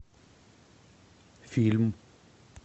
фильм